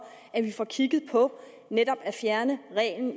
at vi får kigget på netop at få fjernet reglen